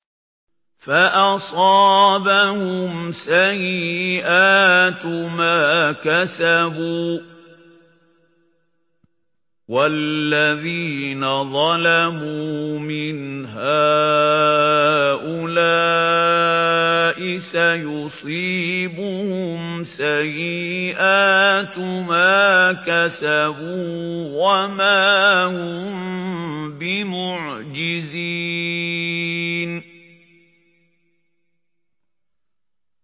فَأَصَابَهُمْ سَيِّئَاتُ مَا كَسَبُوا ۚ وَالَّذِينَ ظَلَمُوا مِنْ هَٰؤُلَاءِ سَيُصِيبُهُمْ سَيِّئَاتُ مَا كَسَبُوا وَمَا هُم بِمُعْجِزِينَ